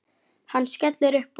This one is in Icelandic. Hann skellir upp úr.